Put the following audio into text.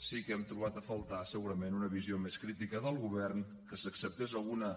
sí que hem trobat a faltar segurament una visió més crítica del govern que s’acceptés alguna